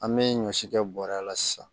An bɛ ɲɔ si kɛ bɔrɛ la sisan